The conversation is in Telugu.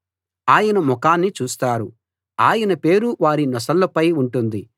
ఆయన ముఖాన్ని చూస్తారు ఆయన పేరు వారి నొసళ్ళపై ఉంటుంది